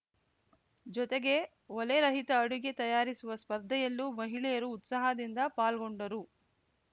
ಜೊತೆಗೆ ಒಲೆರಹಿತ ಅಡುಗೆ ತಯಾರಿಸುವ ಸ್ಪರ್ಧೆಯಲ್ಲೂ ಮಹಿಳೆಯರು ಉತ್ಸಾಹದಿಂದ ಪಾಲ್ಗೊಂಡರು